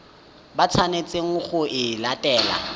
ba tshwanetseng go e latela